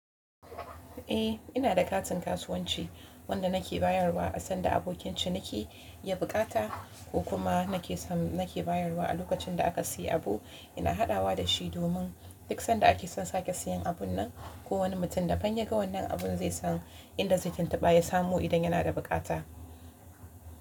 Eh ina da katin kasuwanci wanda nake bayarwa sanda abokin ciniki ya bukata ko kuma nake nake bayarwa a lokacin da aka siyi abu. Ina haɗawa da shi domin duk sanda ake son sake siyan abun nan, kowani mutum da dan ya ga wannan abun zai san inda zai tuntuɓa ya samu idan yana da bukata.